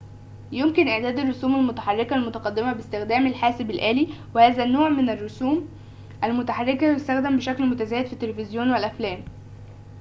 يمكن إعداد الرسوم المتحركة المتقدمة باستخدام الحاسب الآلي وهذا النوع من الرسوم المتحركة يُستخدَم بشكل متزايد في التلفزيون والأفلام